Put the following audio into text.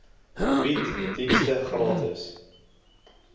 bied dienste gratis